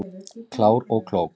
Klár og klók